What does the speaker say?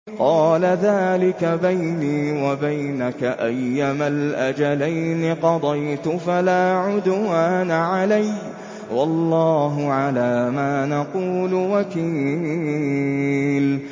قَالَ ذَٰلِكَ بَيْنِي وَبَيْنَكَ ۖ أَيَّمَا الْأَجَلَيْنِ قَضَيْتُ فَلَا عُدْوَانَ عَلَيَّ ۖ وَاللَّهُ عَلَىٰ مَا نَقُولُ وَكِيلٌ